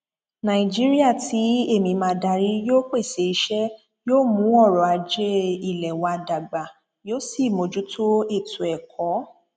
nàìjíríà tí èmi máa darí yóò pèsè iṣẹ yóò mú ọrọ ajé ilé wa dàgbà yóò sì mójútó ètò ẹkọ